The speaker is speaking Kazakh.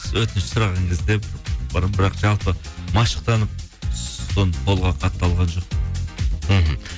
өтініш сұраған кезде бірақ жалпы машықтанып қолға қатты алған жоқпын мхм